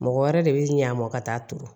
Mɔgɔ wɛrɛ de bi ɲ'a mɔ ka taa turu